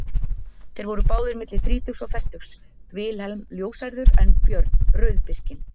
Þeir voru báðir milli þrítugs og fertugs, Vilhelm ljóshærður en Björn rauðbirkinn.